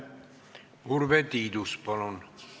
Urve Tiidus, palun!